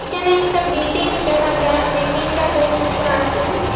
এখানে একটা বিল্ডিং দেখা যার বিল্ডিংটা বহুত উঁসা আসে।